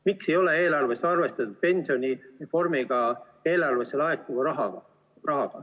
Miks ei ole eelarves arvestatud pensionireformi tulemusena eelarvesse laekuvat raha?